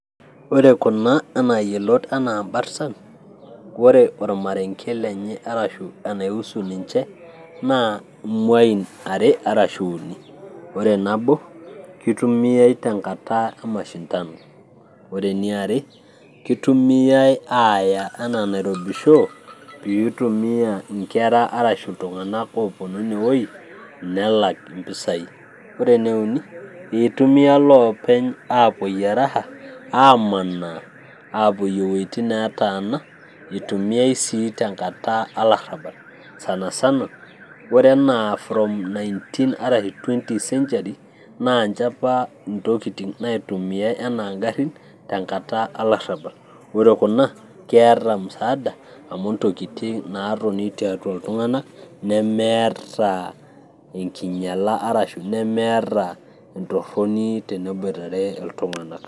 Ore kuna enaa yiolot ena imbartan ore ormarenge lenye arashu enaiusu ninche naa imuain are arashu uni nabo kitumiay tenkata e mashindano ore eniare kitumiay aaya enaa nairobi show piitumia inkera arashu iltung'anak ooponu ine woi nelak impisai, ore ene uni itumiya iloopeny aapuoyie raha amanaa apoyie iwuejitin neetana, itumiae sii tenkata alarrabal sana sana ore enaa from 19 arasi 20 century naa ninche apa intokitin naitumiay enaa ingarrin tenkata alarrabal ore kuna keeta musaada amu intokitin naatoni tiatua iltung'anak nemeeta enkinyiala arashu nemeeta entorroni tenebuitere iltung'anak.